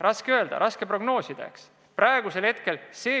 Raske öelda, raske prognoosida.